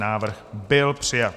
Návrh byl přijat.